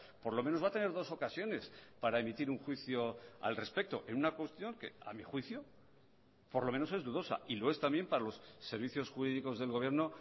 por lo menos va a tener dos ocasiones para emitir un juicio al respecto en una cuestión que a mi juicio por lo menos es dudosa y lo es también para los servicios jurídicos del gobierno